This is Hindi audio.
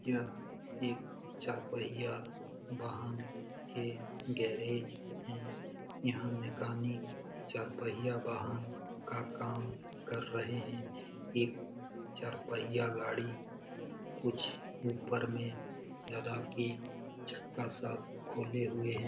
यह एक चार पहिया वाहन के गैरेज है यहाँ मैकेनिक चार पहिया वाहन का काम कर रहे हैं एक चार पहिया गाड़ी कुछ ऊपर में लगा के चक्का सब खोले हुए है।